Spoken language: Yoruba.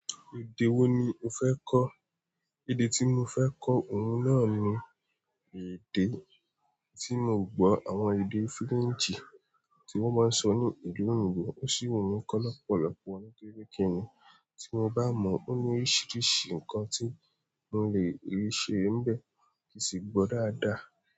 Èdè wo ni o fẹ́ kọ́? Èdè tí mo fẹ́ kọ́, òun náà ni èdè tí mo gbọ́, àwọn èdè frenchì tí wọ́n máa ń sọ ní ìlú òyìnbó, ó sì wù mí kọ́ lọ́pọ̀lọpọ̀ nítorí kí ni, tí mo bá mọ̀ ó ní oríṣiríṣi nǹkan tí mo lè rí ṣe níbẹ̀ kí sì gbọ́ dáadáa.